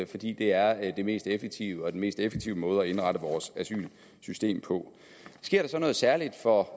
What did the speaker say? fordi det er det mest effektive og den mest effektive måde at indrette vores asylsystem på sker der så noget særligt for